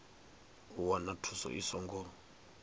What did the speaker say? u wana thuso i songo